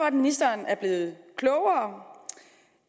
at ministeren er blevet klogere